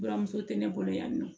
Buramuso tɛ ne bolo yan nɔ